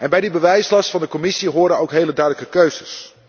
Bij die bewijslast van de Commissie horen ook hele duidelijke keuzes.